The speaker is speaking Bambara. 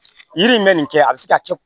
Yiri in bɛ nin kɛ a bɛ se ka kɛ